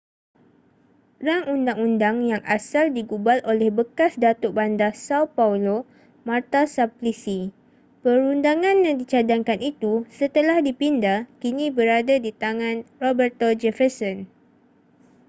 rang undang-undang yang asal digubal oleh bekas datuk bandar são paulo marta suplicy. perundangan yang dicadangkan itu setelah dipinda kini berada di tangan roberto jefferson